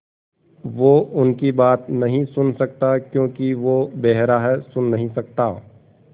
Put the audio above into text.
वो उनकी बात नहीं सुन सकता क्योंकि वो बेहरा है सुन नहीं सकता